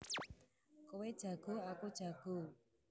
Kowe jago aku jago